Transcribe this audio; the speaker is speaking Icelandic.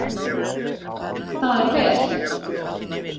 Það er vel